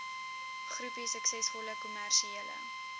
groepie suksesvolle kommersiële